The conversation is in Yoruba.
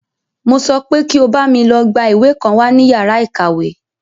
Mo sọ pé kí o bámi lọ gbá ìwé kan wá ní yàrá ìkàwé!